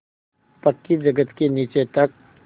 पक्की जगत के नीचे तक